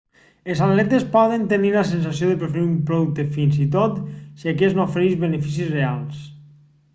els atletes poden tenir la sensació de preferir un producte fins i tot si aquest no ofereix beneficis reals